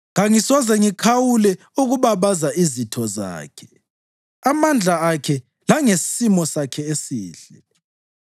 Kangisoze ngikhawule ukubabaza izitho zakhe, amandla akhe langesimo sakhe esihle.